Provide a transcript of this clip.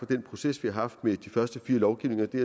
den proces vi har haft med de første fire lovgivninger det